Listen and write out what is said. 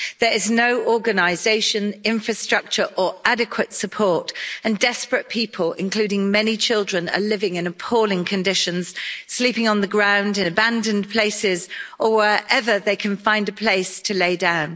There is no organisation, infrastructure or adequate support, and desperate people, including many children, are living in appalling conditions, sleeping on the ground in abandoned places or wherever they can find a place to lie down.